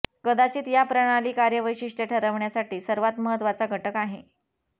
कदाचित या प्रणाली कार्य वैशिष्ट्ये ठरवण्यासाठी सर्वात महत्वाचा घटक आहे